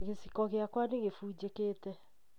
Gĩciko gĩakwa nĩ kĩfunjĩkĩte